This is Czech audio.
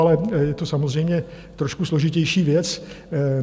Ale je to samozřejmě trošku složitější věc.